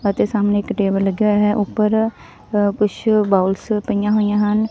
ਅਤੇ ਸਾਹਮਣੇ ਇੱਕ ਟੇਬਲ ਲੱਗਿਆ ਹੋਇਆ ਐ ਉੱਪਰ ਅ ਕੁਛ ਬਾਉੱਲਸ ਪਈਆਂ ਹੋਈਆਂ ਹਨ।